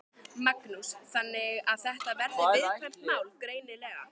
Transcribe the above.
Magnús: Þannig að þetta er viðkvæmt mál, greinilega?